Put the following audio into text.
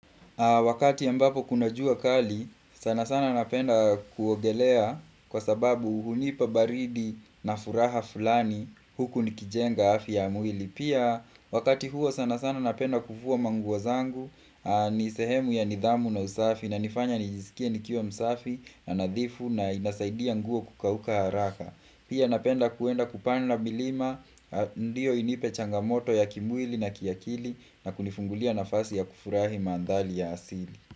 Wakati ambapo kuna jua kali, sana sana napenda kuogelea kwa sababu hunipa baridi na furaha fulani huku nikijenga afya ya mwili. Pia wakati huo sana sana napenda kuvua manguo zangu, ni sehemu ya nidhamu na usafi na nifanya nijisikie nikio msafi na nadhifu na inasaidia nguo kukauka haraka. Pia napenda kuenda kupanda milima, ndio inipe changamoto ya kimwili na kiakili na kunifungulia nafasi ya kufurahi mandhali ya asili.